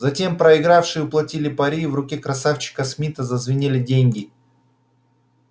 затем проигравшие уплатили пари и в руке красавчика смита зазвенели деньги